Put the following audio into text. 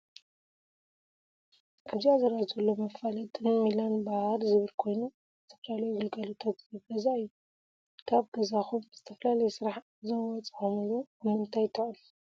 ኣብዚ ዝረኣ ዘሎ መፋለጢ ሚላን ባር ዝብል ኮይኑ ዝተፈላለዩ ግልጋሎታት ዝህብ ገዛ እዩ። ካብ ገዛኩም ብዝተፈላለየ ስራሕ ኣብ ዝወፃኩምሉ ኣብ ምንታይ ትዕርፉ?